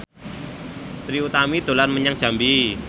Trie Utami dolan menyang Jambi